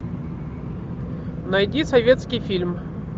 найди советский фильм